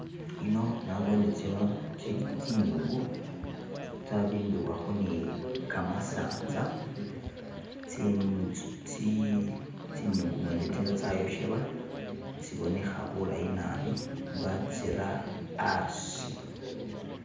Ino nabone tsino tsili tsinyungu tsabimbibwakho ne kamasanza tsinyungu mwene tsino tsayoshebwa tsibonekha bulayi naabi batsira asi.